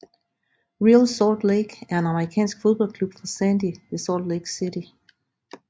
Real Salt Lake er en amerikansk fodboldklub fra Sandy ved Salt Lake City